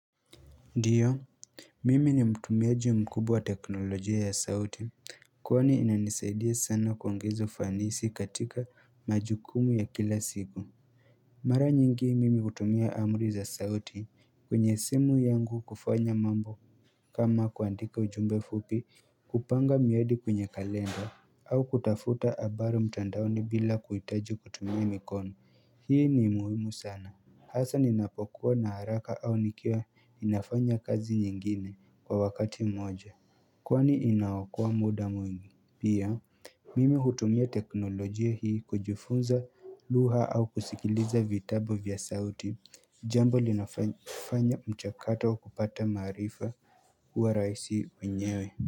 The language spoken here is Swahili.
Ndiyo mimi ni mtumiaji mkubwa wa teknolojia ya sauti Kwani inanisaidia sana kuongeza ufanisi katika majukumu ya kila siku Mara nyingi mimi hutumia amri za sauti kwenye simu yangu kufanya mambo kama kuandika ujumbe fupi kupanga miadi kwenye kalenda au kutafuta habari mtandaoni bila kuhitaji kutumia mikoni hii ni muhimu sana Hasa ninapokuwa na haraka au nikiwa ninafanya kazi nyingine kwa wakati mmoja Kwani inaokoa muda mwingi pia Mimi hutumia teknolojia hii kujifunza lugha au kusikiliza vitabu vya sauti Jambo linafanya mchakato wa kupata maarifa kuwa rahisi wenyewe.